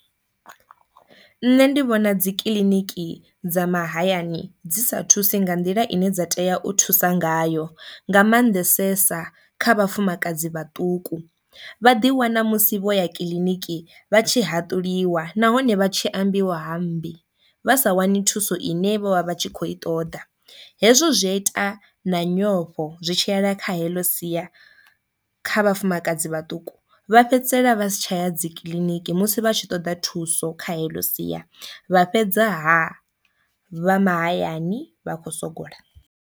Nṋe ndi vhona dzikiḽiniki dza mahayani dzi sa thusi nga nḓila ine dza tea u thusa ngayo nga mannḓesesa kha vhafumakadzi vhaṱuku, vha ḓi wana musi vho ya kiḽiniki vha tshi haṱuliwa nahone vha tshe ambiwa ha mmbi vha sa wani thuso ine vho vha vha tshi kho i ṱoḓa. Hezwo zwi a ita na nyofho zwi tshiyela kha heḽo siya kha vhafumakadzi vhaṱuku vha fhedzisela vha si tsha ya dzi kiḽiniki musi vha tshi ṱoda thuso kha heḽo siya vha fhedzaha vha mahayani vha khou sogola.